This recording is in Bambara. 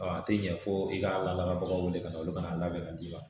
A tɛ ɲɛ fo i ka lakali baganw wele ka na olu kana labɛn ka d'i ma